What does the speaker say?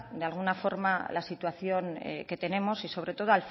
de alguna forma la situación que tenemos y sobre todo